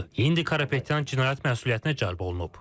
İndi Karapetyan cinayət məsuliyyətinə cəlb olunub.